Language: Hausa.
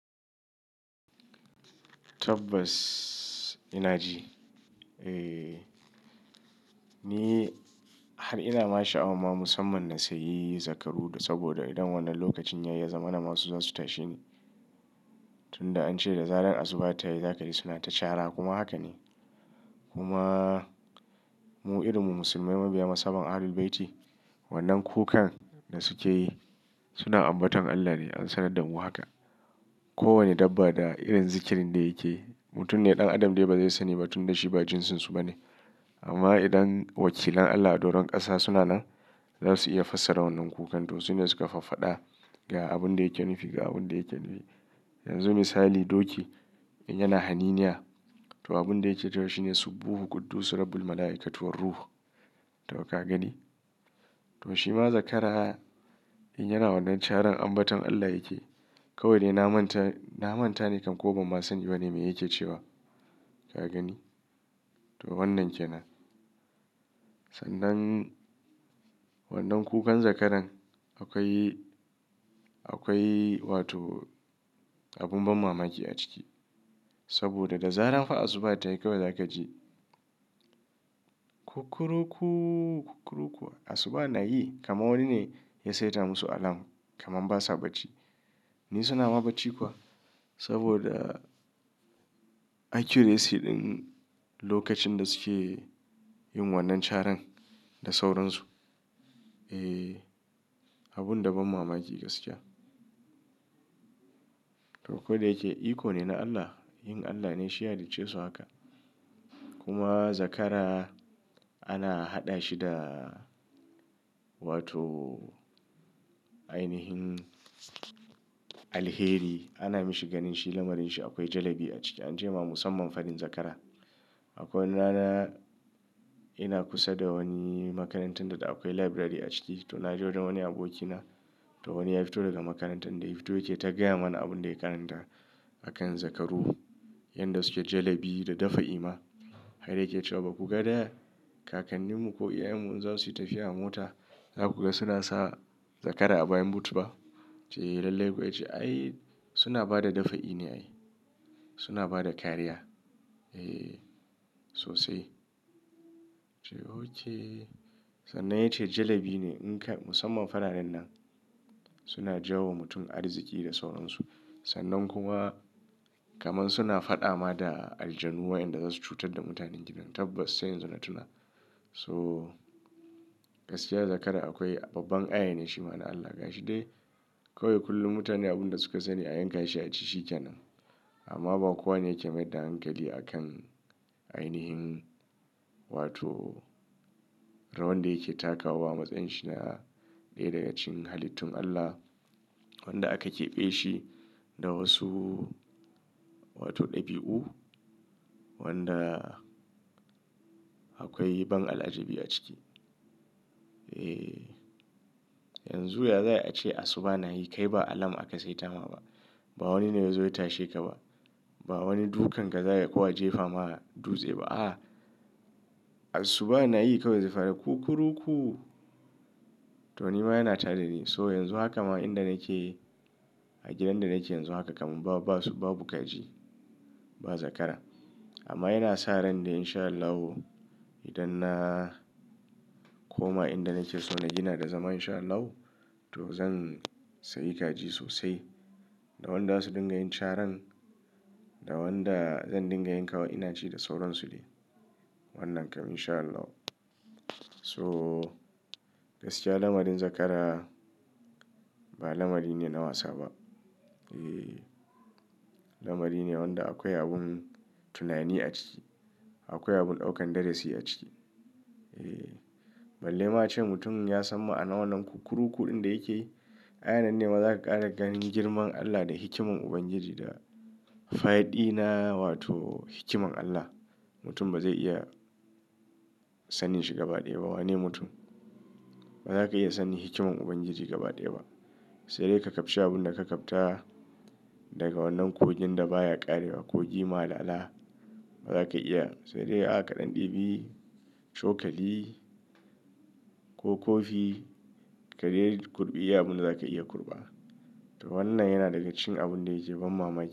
Tabbas ina ji. Eh, ni har ina ma sha'awa ma musamman na sayi zakaru da saboda idan wannan lokacin ya yi, zamana ma su za su tashi ne. Tunda an ce da zaran asuba ta yi zaka ji suna ta cara kuma haka ne. Kuma mu irinmu musulmai mabiya masama Ahlul Bayti, wannan kukan da suke yi suna ambaton Allah ne, an sanar da mu haka. Ko wane dabba da irin zikirin da yake, mutum neɗan adam dai ba zai sani ba tun da shi ba jinsinsu ba ne. Amma idan wakilan Allah a doron ƙasa suna nan, za su iya fassara wannan kukan to su ne suka fafada ga abun da yake nufi ga abun da yake. Yanzu misali doki in yana haniniya to abun da yake cewa shi ne "Subbuhu quddusu rabbul malaikatu war ruh", to ka gani? To shi ma zakara in yana wannan caran ambaton Allah yake. Kawai ne na manta, na manta ne kam ko ban ma sani ba ne mai yake cewa. Ka gani? To wannan ke nan. Sannan wannan kukan zakaran akwai, akwai wato abun ban mamaki a ciki. Saboda da zaran fa asuba ta yi kawai za ka ji kukuruku kukuruku. Asuba na yi kamar wani ne ya saita musu alam, kamar basa bacci. Ni suna ma bacci kuwa saboda accuracy ɗin lokacin da suke yin wannan caran da sauran su. Eh, abun da ban mamaki gaskiya. To ko da yake icon ne na Allah, yin Allah ne shi ya halice su haka. Kuma zakara ana haɗa shi da wato ainihin alheri. Ana mashi ganin shi lamarin shi akwai jalebi a ciki. An ce ma musamman faɗin zakara. Akwai rana ina kusa da wani makarantar da akwai library a ciki. To na je wajen wani abokina. To wani ya fito daga makarantan, dai fito yake ta gaya mana abun da yake karanta a kan zakaru. Yanda suke jalebi da dafa'i ma. Har yake cewa “ba kuka ga da kakanninmu ko iyayenmu in za su yi tafiya a mota, za ku ga suna sa zakara a bayan booth ba?” Ce, lallai kuwa. Ya ce, “Ai suna ba da dafa'i ne ai. Suna ba da kariya.” Eh sosai. Ce, ok. Sannan ya ce jalebi ne in ka-- musamman fararen nan suna jawo wa mutum arziki da sauran su. Sannan kuma kaman suna faɗa ma da aljanu wayanda za su cutar da mutanen gidan. Tabbas, sai yanzu na tuna. So gaskiya zakara akwai babban ayya ne shi ma na Allah gashi dai kawai kullum mutane abun da suka sani a yanka shi a ci shi ke nan. Amma ba kowane yake mai da hankali a kan ainihin wato rawan da yake takawa. Matsayin shi na ɗaya daga cikin halittun Allah wanda aka keɓe shi da wasu wato ɗabi'u wanda akwai ban al'ajabi a ciki. Eh, yanzu ya za a ce asuba na yi kai ba alam aka saita ma ba. Ba wani ne ya zo ya tashe ka ba. Ba wani dukan ka za ka ko a jefa ma dutse ba. A'a, asuba na yi kawai zai fara kukuruku. To ni ma yana tada ni. To yanzu haka ma inda nake a gidan da nake yanzu haka kaman ba, ba su, ba babu kaji, ba zakara. Amma ina sa ran da insha Allahu idan na koma inda nake so na gina da zama insha Allahu to zan sayi kaji sosai da wanda za su dinga yin caran da wanda zan dinga yinka wa ina ci da sauran su dai. Wannan kam insha Allahu. So gaskiya lamarin zakara ba lamari ne na wasa ba. Eh, lamari ne wanda akwai abun tunani a ciki. Akwai abun ɗaukan darasi a ciki. Eh, balle ma a ce mutum ya san ma'anan wannan kukuruku ɗin da yake yi. Ai anan ne ma za ka ƙara ganin girman Allah da hikiman Ubangiji da faɗi na wato hikiman Allah. Mutum ba zai iya sanin shi gaba ɗaya ba. Wane mutum ba za ka iya sanin hikiman Ubangiji gaba ɗaya ba. Sai dai ka kabci abun da ka kabta daga wannan kogin da baya ƙarewa. Kogi malala ba za ka iya-- sai dai a kaɗan ɗibi, cokali ko kofi ka rera kurɓi abin da za ka iya kurɓa. To wannan yana daga cikin abun da yake ban mamaki.